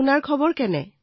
আপোনাৰ ভাল নে